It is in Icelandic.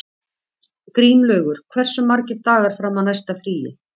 Grímlaugur, hversu margir dagar fram að næsta fríi?